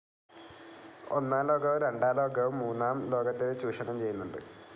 ഒന്നാം ലോകവും രണ്ടാം ലോകവും മൂന്നാം ലോകത്തിനെ ചൂഷണം ചെയ്യുന്നുണ്ട്.